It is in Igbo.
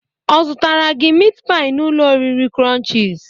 Ọ zutara gi mit pai n'ụlọ oriri Crunchiz?